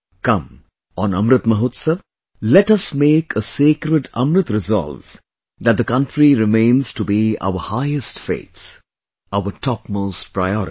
Come, on Amrit Mahotsav, let us make a sacred Amrit resolve that the country remains to be our highest faith; our topmost priority